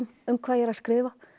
um hvað ég er að skrifa